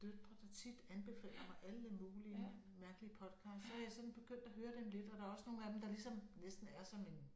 Døtre der tit anbefaler mig alle mulige mærkelige podcasts så jeg sådan begyndt at høre dem lidt og der også nogle af dem der ligesom næsten er som en